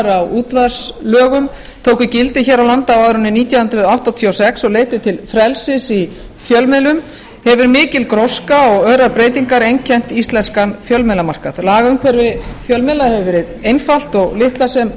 útvarpslögum tóku gildi hér á landi á árinu nítján hundruð áttatíu og sex og leiddu til frelsis í fjölmiðlun hefur mikil gróska og örar breytingar einkennt íslenskan fjölmiðlamarkað lagaumhverfi fjölmiðla hefur verið einfalt og litlar sem